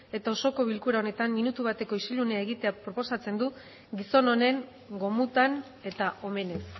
eta osoko bilkura honetan minutu bateko isilunea egitea proposatzen du gizon honen gomutan eta omenez